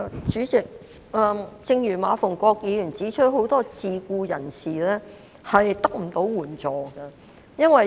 主席，正如馬逢國議員指出，很多自僱人士得不到援助。